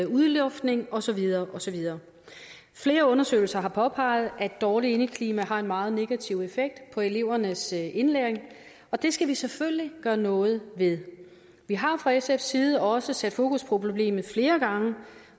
udluftning og så videre og så videre flere undersøgelser har påpeget at dårligt indeklima har en meget negativ effekt på elevernes indlæring og det skal vi selvfølgelig gøre noget ved vi har fra sfs side også sat fokus på problemet flere gange